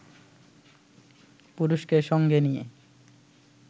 পুরুষকে সঙ্গে নিয়ে